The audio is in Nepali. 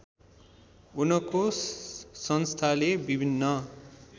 उनको संस्थाले विभिन्न